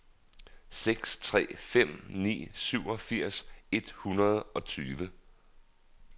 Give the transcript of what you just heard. seks tre fem ni syvogfirs et hundrede og tyve